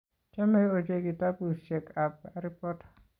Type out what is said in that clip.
Chame ochei kitabushek kab Harry Potter